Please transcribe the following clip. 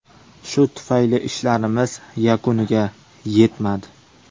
Shu tufayli ishlarimiz yakuniga yetmadi.